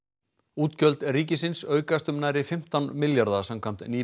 útgjöld ríkisins aukast um nærri fimmtán milljarða samkvæmt